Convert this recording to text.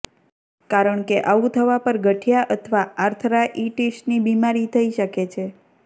કારણ કે આવું થવા પર ગઠિયા અથવા આર્થરાઇટિસની બીમારી થઇ શકે છે